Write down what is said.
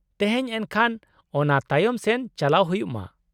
ᱛᱮᱦᱮᱧ ᱮᱱᱠᱷᱟᱱ ᱚᱱᱟ ᱛᱟᱭᱚᱢ ᱥᱮᱱ ᱪᱟᱞᱟᱣ ᱦᱩᱭᱩᱜ ᱢᱟ ᱾